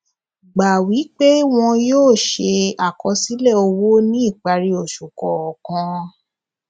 gbà wí pé wọn yóò ṣe àkọsílẹ owó ní ìparí oṣù kọọkan